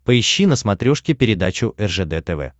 поищи на смотрешке передачу ржд тв